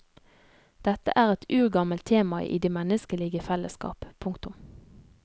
Dette er et urgammelt tema i de menneskelige fellesskap. punktum